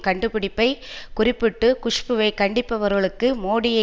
கண்டுபிடிப்பை குறிப்பிட்டு குஷ்புவை கண்டிப்பவர்களுக்கு மோடியை